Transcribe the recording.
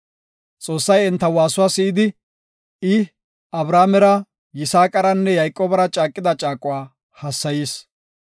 Xoossay enta waasuwa si7idi, I Abrahaamera, Yisaaqaranne Yayqoobara caaqida caaquwa hassayis.